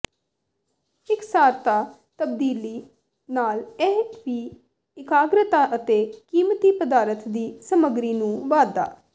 ਇਕਸਾਰਤਾ ਤਬਦੀਲੀ ਨਾਲ ਇਹ ਵੀ ਇਕਾਗਰਤਾ ਅਤੇ ਕੀਮਤੀ ਪਦਾਰਥ ਦੀ ਸਮੱਗਰੀ ਨੂੰ ਵਧਾ